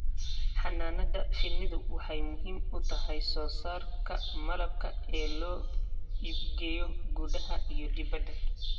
Xannaanada shinnidu waxay muhiim u tahay soosaarka malabka ee loo iibgeeyo gudaha iyo dibadda.